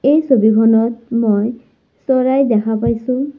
এই ছবিখনত মই চৰাই দেখা পাইছোঁ।